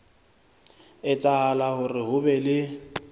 etsahala hore ho be le